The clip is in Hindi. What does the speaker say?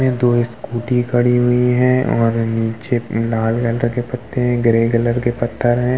दो स्कूटी खड़ी हुई हैं और नीचे लाल रंग के पते हैं ग्रे कलर के पत्थर हैं।